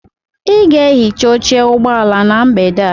Ị ga-ehicha oche ụgbọ ala na mgbede a.